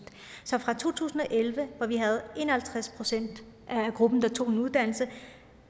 så fra to tusind og elleve hvor vi havde en og halvtreds procent af gruppen der tog en uddannelse